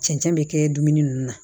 Cɛncɛn bɛ kɛ dumuni ninnu na